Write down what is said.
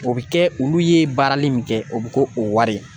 O bɛ kɛ olu ye baarali min kɛ, o bɛ k'o o wari ye.